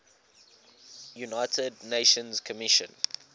united nations commission